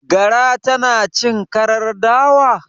Gara tana cin karar dawa?